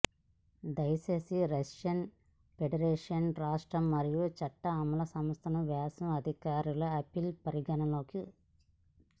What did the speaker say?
దయచేసి Russian federation రాష్ట్ర మరియు చట్ట అమలు సంస్థలు వ్యాసం అధికారిక అప్పీల్ పరిగణలోకి